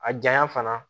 A janya fana